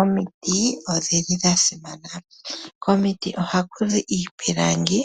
Omiti odhili dha simana. Komiti oha ku zi iipilangi